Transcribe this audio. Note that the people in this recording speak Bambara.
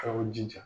K'aw jija